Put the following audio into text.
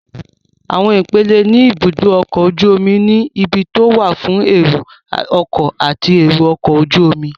Àwọn ipele ní ibùdó ọkọ̀ ojú omi ni; ibi tó wà fún ẹrù ọkọ̀ àti èrò ọkọ̀ ojú omi